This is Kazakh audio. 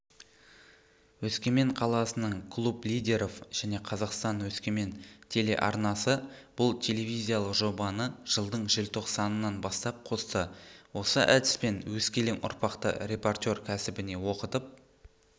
өскемен қаласының клуб лидеров және қазақстан-өскемен телеарнасы бұл телевизиялық жобаны жылдың желтоқсанынан бастап қосты осы әдіспен өскелең ұрпақты репортер кәсібіне оқытып